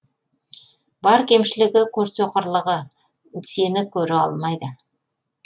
бар кемшілігі көрсоқырлығы сені көре алмайды